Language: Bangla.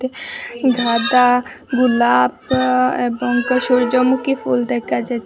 গাঁদা গোলাপ আ এবং পা সূর্যমুখী ফুল দেখা যাচ্ছে।